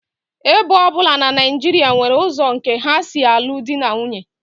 Ebo ọ bụla na Naijiria nwere ụzọ nke ha si alụ di na nwunye